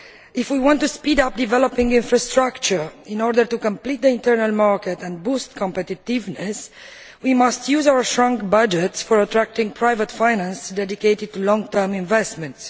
If we want to speed up the development of infrastructure in order to complete the internal market and boost competitiveness, we must use our shrunk budgets to attract private finance dedicated to long term investments.